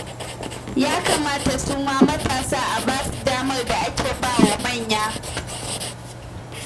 Ya kamata su ma matasa a ba su damar da ake ba wa manya